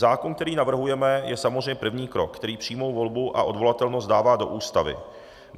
Zákon, který navrhujeme, je samozřejmě první krok, který přímou volbu a odvolatelnost dává do Ústavy.